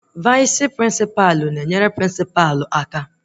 Vaịs prịnsịpa na-enyere prịnsịpa aka